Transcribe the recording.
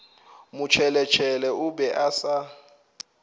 motšheletšhele o be a sa